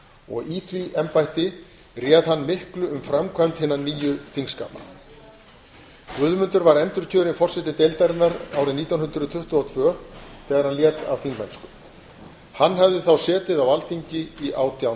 og í því embætti réð hann miklu um framkvæmd hinna nýju þingskapa guðmundur var endurkjörinn forseti deildarinnar árið nítján hundruð tuttugu og tvö þegar hann lét af þingmennsku hann hafði þá setið á alþingi í átján